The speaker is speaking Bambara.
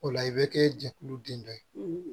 O la i bɛ kɛ jɛkulu den dɔ ye